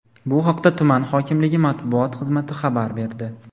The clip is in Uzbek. Bu haqda tuman hokimligi matbuot xizmati xabar berdi.